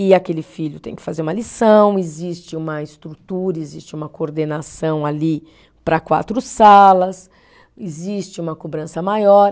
E aquele filho tem que fazer uma lição, existe uma estrutura, existe uma coordenação ali para quatro salas, existe uma cobrança maior.